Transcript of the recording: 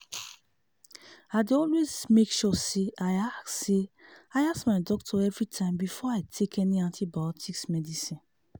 i dey always make sure say i ask say i ask my doctor everytime before i take any antibiotics medicine